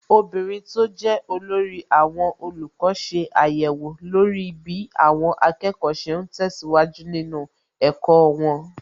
Obìnrin tó jẹ́ olórí àwọn olùkọ́ ṣe àyẹ̀wò lórí bí àwọn akẹ́kọ̀ọ́ ṣe ń tẹ̀síwájú nínú ẹ̀kọ́ wọn.